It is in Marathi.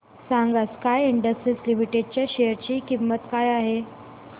सांगा स्काय इंडस्ट्रीज लिमिटेड च्या शेअर ची किंमत काय आहे